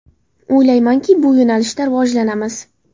O‘ylaymanki, bu yo‘nalishda rivojlanamiz”.